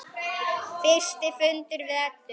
Fyrsti fundur við Eddu.